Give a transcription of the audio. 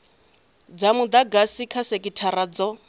dza mudagasi kha sekithara dzo